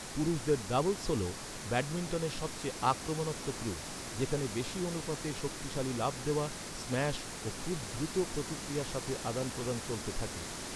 পুরুষদের ডাবলস হল ব্যাডমিন্টনের সবচেয়ে আক্রমণাত্মক রূপ, যেখানে বেশী অনুপাতে শক্তিশালী লাফ দেওয়া, স্ম্যাশ ও খুব দ্রুত প্রতিক্রিয়ার সাথে আদান প্রদান চলতে থাকে।